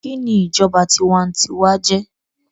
kìíní ìjọba tiwantiwa jé?